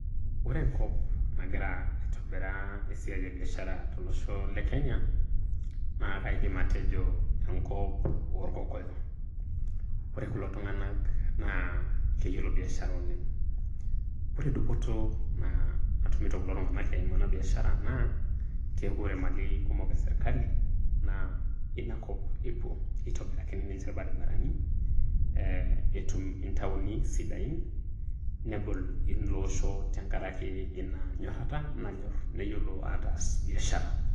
Ore enkop nagira aitobiraa esiai ebiashara tolosho le Kenya, naa kaidim atejo enkop Olkokoyo. Ore kulo tung'ana naa keyiolo biashara oleng. Ore dupoto naa natumito kulo tung'ana eimu ena biashara keaku ore imalin kumok eserkali naa inakop ewuo, eitobirakini ninche ilbarabarani, etum intaoni sidain, nebol ilo osho tenkaraki inanyorata nanyor neyiolo ataas biashara